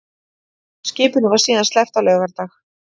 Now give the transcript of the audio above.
Skipinu var síðan sleppt á laugardag